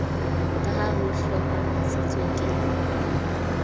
ka ha ho hlomamisitswe ke